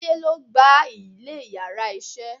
Táyé lo gba ilè íyarà iṣẹ